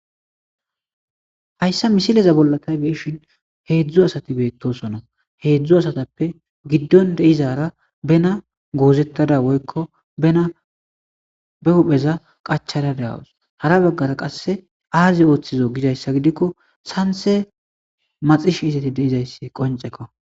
hayssa misileza bolla tay beishin heedzdzu asati beettosona heedzdzu asatappe giddon deizara bena goozettada woykko bena be hupheza qachada da7awus hara baggara qasse aazi ooththizo gidayssa gidikko sanse maxish isati deizayssi qoncekko